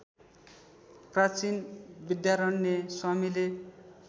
प्राचीन विद्यारण्य स्वामीले